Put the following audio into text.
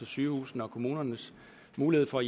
sygehusenes og kommunernes muligheder for